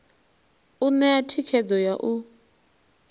u ṋea thikhedzo ya u